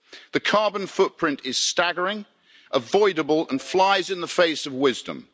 The carbon footprint is staggering, avoidable and flies in the face of wisdom.